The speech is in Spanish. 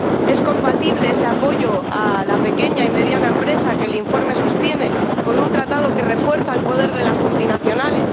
¿Es compatible ese apoyo a la pequeña y mediana empresa, que el informe sostiene, con un Tratado que refuerza el poder de las multinacionales?